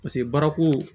Paseke baarako